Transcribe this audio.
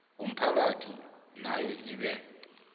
womphakathi nayo ibe